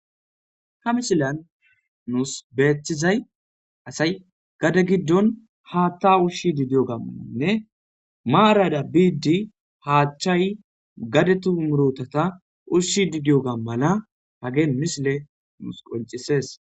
Ha mishilan nuus beethizay asay gada giddon haatta ushshi didiyo gammananne maarada biiddi haachchay gade tumurotata ushshi didiyo gammala hagee misile nuus qoncises